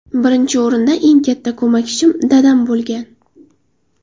Birinchi o‘rinda eng katta ko‘makchim dadam bo‘lgan.